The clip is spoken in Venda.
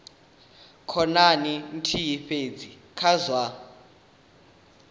khonani nthihi fhedzi kha zwa